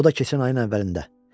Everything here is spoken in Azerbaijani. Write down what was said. O da keçən ayın əvvəlində.